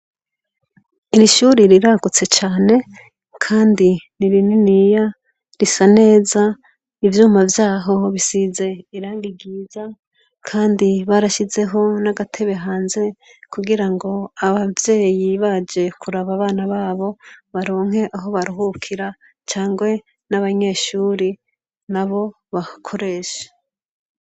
Iri shuri riragutse cane ,kandi ni rininiya risa neza ivyuma vyaho bisize irangi ryiza, kandi barashizeho n'agatebe hanze kugira ngo abavyeyi baje kuraba abana babo baronke aho baruhukira cangwe n'abanyeshuri nabo bahakoreshe.